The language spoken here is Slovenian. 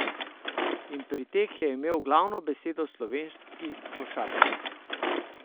In pri teh je imel glavno besedo slovenski košarkar.